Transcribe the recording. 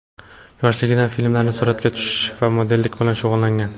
Yoshligidan filmlarda suratga tushish va modellik bilan shug‘ullangan.